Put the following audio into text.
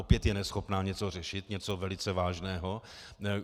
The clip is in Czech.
Opět je neschopná něco řešit, něco velice vážného?